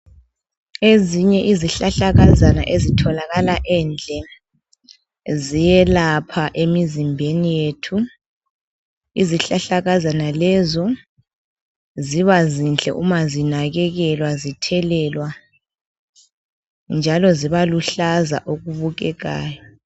Ezinye izihlahlakazana ezitholakala endlini ziyelapha emizimbeni yethu izihlahlakazana lezo ziba zinhle uma zinakekelwa zithelelwa njalo ziba luhlaza okubukekayo.